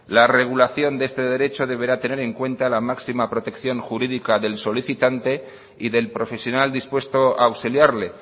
la regulación de este derecho deberá tener en cuenta la máxima protección jurídica del solicitante y del profesional dispuesto a auxiliarle